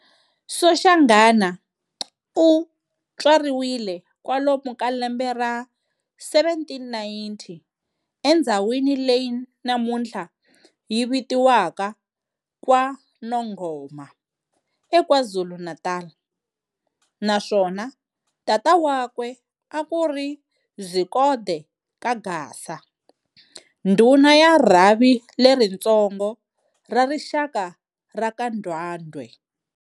Soshanghana u tswariwe kwalomo ka lembe ra 1790 endzhawini leyi namunthla yi vitiwaka KwaNongoma, eKwaZulu-Natala naswona tata wakwe akuri Zikode ka Gasa, ndhuna ya rhavi leritsongo ra rixaka raka Ndwandwe.